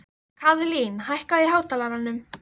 Kaðlín, hækkaðu í hátalaranum.